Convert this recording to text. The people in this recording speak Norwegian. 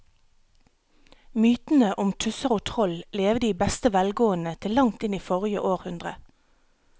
Mytene om tusser og troll levde i beste velgående til langt inn i forrige århundre.